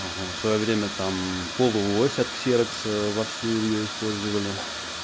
своё время там полуось от ксерокса вовсю её использовали